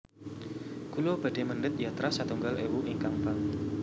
Kulo badhe mendhet yatra setunggal ewu ingkang bank